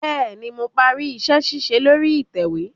Bẹẹni, Mo pari iṣẹ-ṣiṣe lori itẹwe